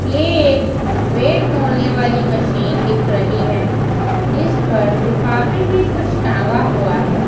ये एक वेट तौलने वाली मशीन दिख रही है जिस पर लिफाफे में कुछ टंगा हुआ है।